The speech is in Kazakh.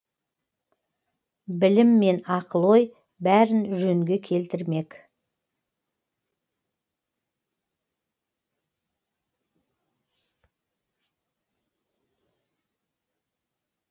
білім мен ақыл ой бәрін жөнге келтірмек